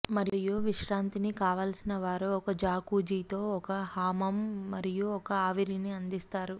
మరియు విశ్రాంతిని కావలసిన వారు ఒక జాకుజీతో ఒక హమాం మరియు ఒక ఆవిరిని అందిస్తారు